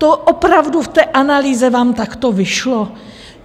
To opravdu v té analýze vám takto vyšlo?